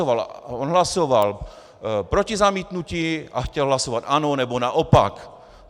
On hlasoval proti zamítnutí a chtěl hlasovat ano, nebo naopak.